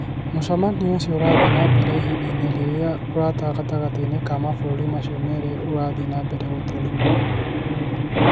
Mũcemanio ũcio ũrathiĩ na mbere ihinda-inĩ rĩrĩa ũrata gatagatĩ-inĩ ka mabũrũri macio merĩ ũrathiĩ na mbere na gũthũrimuo mũno".